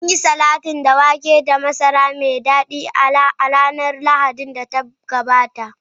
Mun yi salatin da wake da masara mai dadi a ranar Lahadin da ta gabata.